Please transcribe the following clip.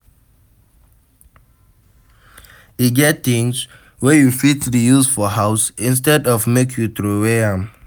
E get things wey you fit reuse for house instead of make you trowey am